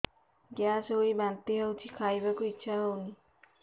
gas ହୋଇ ବାନ୍ତି ହଉଛି ଖାଇବାକୁ ଇଚ୍ଛା ହଉନି